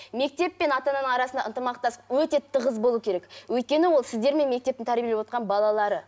мектеп пен ата ананың арасында ынтымақтастық өте тығыз болу керек өйткені ол сіздермен мектептің тәрбиелеп отырған балалары